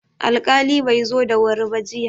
Alƙali bai zo da wuri ba jiya.